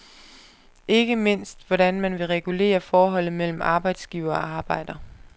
Ikke mindst hvordan man vil regulere forholdet mellem arbejdsgiver og arbejder.